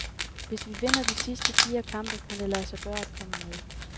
Hvis vi vinder de sidste fire kampe, kan det lade sig gøre at komme med.